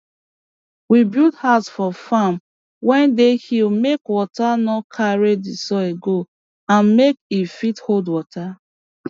we build house for farm wey dey hill make water no carry d soil go and make e fit hold water